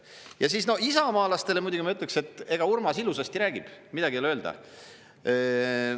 Ja siis isamaalastele muidugi ma ütleksin, et ega Urmas ilusasti räägib, midagi öelda.